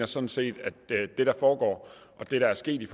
sådan set at det der foregår og det der er sket i